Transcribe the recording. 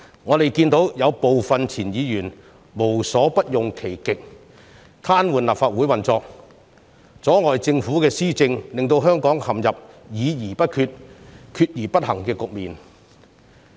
我們看到有部分前議員無所不用其極，癱瘓立法會運作，阻礙政府施政，令香港陷入議而不決，決而不行的局面。